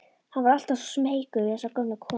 Hann var alltaf smeykur við þessa gömlu konu.